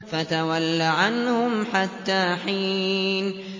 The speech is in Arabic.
فَتَوَلَّ عَنْهُمْ حَتَّىٰ حِينٍ